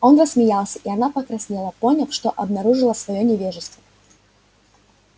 он рассмеялся и она покраснела поняв что обнаружила своё невежество